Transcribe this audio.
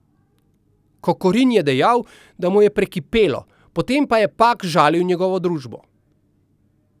Kokorin je dejal, da mu je prekipelo, potem ko je Pak žalil njegovo družbo.